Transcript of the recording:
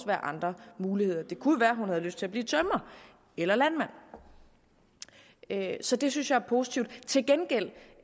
være andre muligheder det kunne jo være at hun havde lyst til at blive tømrer eller landmand så det synes jeg er positivt til gengæld